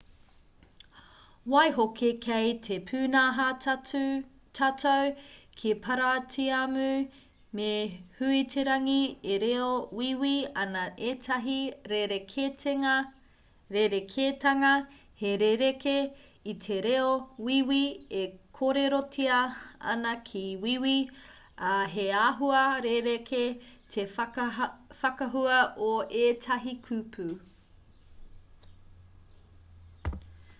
waihoki kei te pūnaha tatau ki paratiamu me huiterangi e reo wīwī ana ētahi rerekētanga he rerekē i te reo wīwī e kōrerotia ana ki wīwī ā he āhua rerekē te whakahua o ētahi kupu